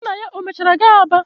Gị na ya o mechara gaa Aba?